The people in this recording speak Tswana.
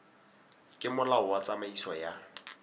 ke molao wa tsamaiso ya